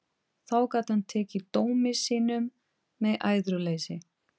Þá gat hann tekið dómi sínum með æðruleysi.